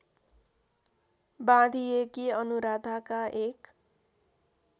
बाँधिएकी अनुराधाका एक